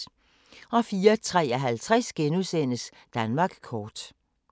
04:53: Danmark kort *